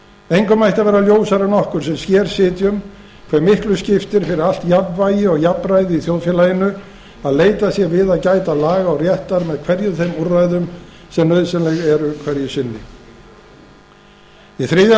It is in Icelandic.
engum ætti að vera ljósara en okkur sem hér sitjum hve miklu skiptir fyrir allt jafnvægi og jafnræði í þjóðfélaginu að leitast sé við að gæta laga og réttar með hverjum þeim úrræðum sem nauðsynleg eru hverju sinni í þriðja